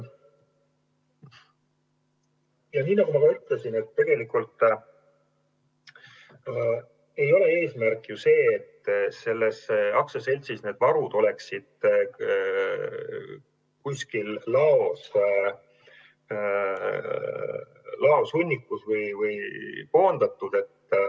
Ja nagu ma ütlesin, tegelikult ei ole eesmärk ju see, et selles aktsiaseltsis oleks need varud kuskil laos hunnikus või kuhugi mujale koondatud.